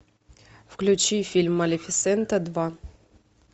включи фильм малефисента два